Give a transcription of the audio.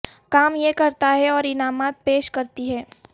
کام یہ کرتا ہے اور انعامات پیش کرتی ہے